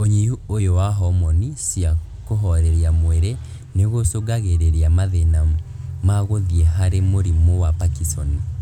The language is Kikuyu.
ũnyihu ũyũ wa homoni cia kũhoreria mwĩrĩ nĩgũcũngagĩrĩria mathĩna ma gũthiĩ harĩ mũrimũ wa Parkinson